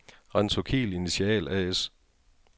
Rentokil Initial A/S